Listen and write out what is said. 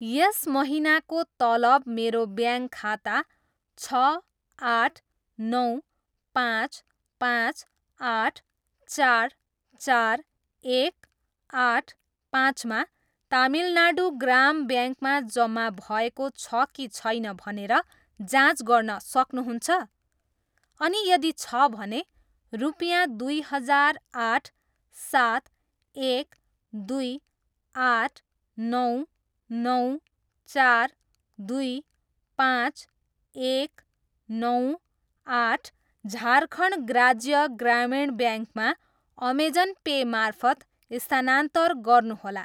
यस महिनाको तलब मेरो ब्याङ्क खाता छ, आठ, नौ, पाँच, पाँच, आठ, चार, चार, एक, आठ, पाँचमा तमिलनाडू ग्राम ब्याङ्कमा जम्मा भएको छ कि छैन भनेर जाँच गर्न सक्नुहुन्छ?, अनि यदि छ भने, रुपियाँ दुई हजार आठ, सात, एक, दुई, आठ, नौ, नौ, चार, दुई, पाँच, एक, नौ, आठ, झारखण्ड राज्य ग्रामीण ब्याङ्कमा अमेजन पे मार्फत स्थानान्तर गर्नुहोला।